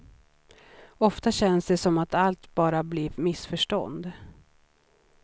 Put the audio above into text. Oftast känns det som att allt bara blir missförstånd.